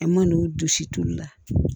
An man n'u jɔsi toli la